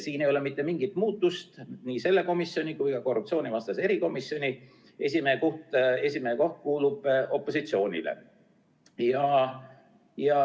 Siin ei ole mitte mingit muutust, nii selle komisjoni kui ka korruptsioonivastase erikomisjoni esimehe koht kuulub opositsioonile.